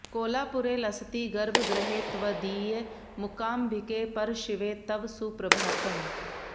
कोलापुरे लसति गर्भगृहे त्वदीये मूकाम्बिके परशिवे तव सुप्रभातम्